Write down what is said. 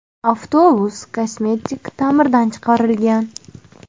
Avtobus kosmetik ta’mirdan chiqarilgan.